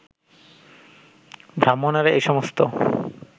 ব্রাহ্মণেরা এই সমস্ত